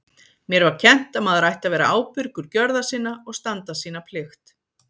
Mér var kennt að maður ætti að vera ábyrgur gjörða sinna og standa sína plikt.